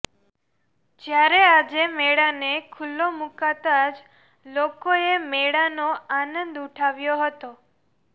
જ્યારે આજે મેળાને ખુલ્લો મુકાતા જ લોકોએ મેળાનો આનંદ ઉઠાવ્યો હતો